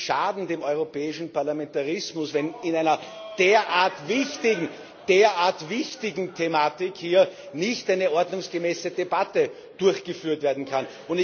Sie schaden dem europäischen Parlamentarismus, wenn zu einer derart wichtigen Thematik hier nicht eine ordnungsgemäße Debatte durchgeführt werden kann.